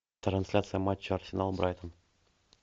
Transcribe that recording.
трансляция матча арсенал брайтон